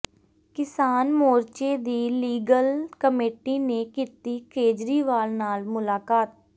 ਕਿਸਾਨ ਮੋਰਚੇ ਦੀ ਲੀਗਲ ਕਮੇਟੀ ਨੇ ਕੀਤੀ ਕੇਜਰੀਵਾਲ ਨਾਲ ਮੁਲਾਕਾਤ